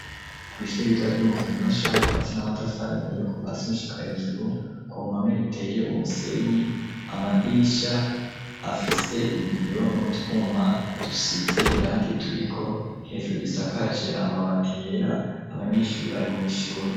Kw' ishuri ritoya ryo mu Kanyosha, ryibatse n'amatafari ahiye kuva hasi gushika hejuru. Ku mpome riteye umusenyi, amadirisha afise ibiyo n'utwuma dusize irangi turiko, hejuru isakaje amabati yera, abanyeshuri bari mu ishuri.